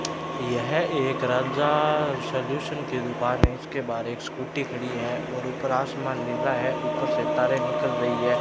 यह एक राजा सॉल्यूशन की दुकान है इसके बाहर एक स्कूटी खड़ी है और ऊपर आसमान नीला है ऊपर सितारे निकल रही है।